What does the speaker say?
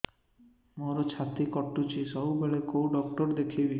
ମୋର ଛାତି କଟୁଛି ସବୁବେଳେ କୋଉ ଡକ୍ଟର ଦେଖେବି